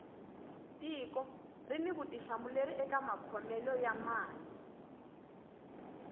tiko rini vutihlamuleri eka makhomele ya mali